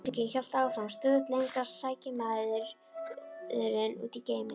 Auglýsingin hélt áfram: Stöðugt lengra sækir maðurinn út í geiminn.